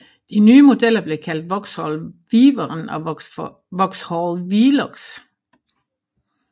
De nye modeller blev kaldt Vauxhall Wyvern og Vauxhall Velox